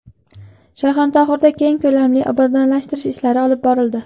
Shayxontohurda keng ko‘lamli obodonlashtirish ishlari olib borildi.